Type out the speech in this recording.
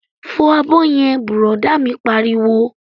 Fọ abọ́ yẹn! Bùrọ̀dá mi pariwo